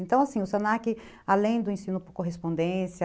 Então, assim, o se na que, além do ensino por correspondência,